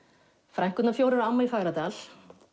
frænkurnar fjórar og amma í Fagradal